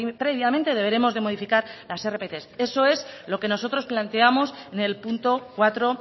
previamente deberemos de modificar las rpt eso es lo que nosotros planteamos en el punto cuatro